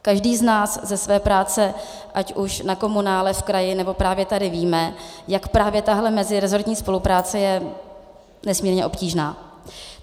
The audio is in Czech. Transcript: Každý z nás ze své práce ať už v komunále, v kraji, nebo právě tady ví, jak právě tahle mezirezortní spolupráce je nesmírně obtížná.